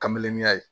Kamelenniya ye